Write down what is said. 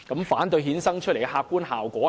反對衍生出來的客觀效果是甚麼？